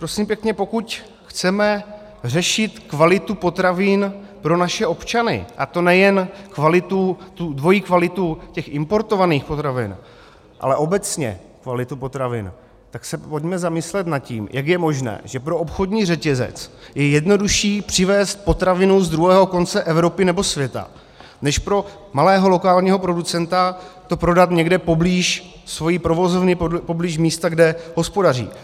Prosím pěkně, pokud chceme řešit kvalitu potravin pro naše občany, a to nejen dvojí kvalitu těch importovaných potravin, ale obecně kvalitu potravin, tak se pojďme zamyslet nad tím, jak je možné, že pro obchodní řetězec je jednodušší přivézt potravinu z druhého konce Evropy nebo světa než pro malého lokálního producenta to prodat někde poblíž svojí provozovny, poblíž místa, kde hospodaří.